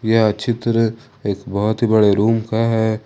यह चित्र एक बहोत ही बड़े रूम का है।